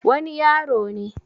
wani yaro ne